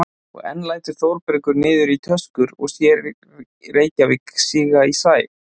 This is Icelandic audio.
Og enn lætur Þórbergur niður í töskur og sér Reykjavík síga í sæ.